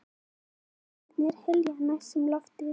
Vængirnir hylja næstum loftið.